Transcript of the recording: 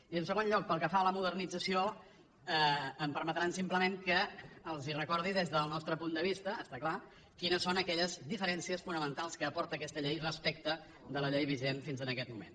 i en segon lloc pel que fa a la modernització em permetran simplement que els recordi des del nostre punt de vista és clar quines són aquelles diferències fonamentals que aporta aquesta llei respecte de la llei vigent fins en aquest moment